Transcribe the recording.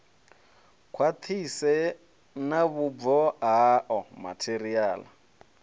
khwaṱhise na vhubvo hao matheriaḽa